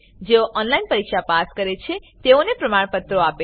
જેઓ ઓનલાઈન પરીક્ષા પાસ કરે છે તેઓને પ્રમાણપત્રો આપે છે